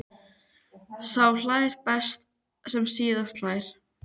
Sá hlær best sem síðast hlær!